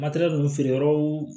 Matɛrɛli ninnu feere yɔrɔw